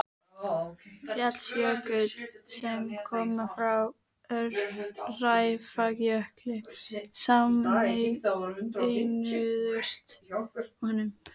Fjallsjökull, sem koma frá Öræfajökli, sameinuðust honum.